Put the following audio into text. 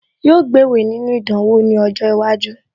Yóò gbéwèé nínú ìdánwò ní ọjọ́ iwájú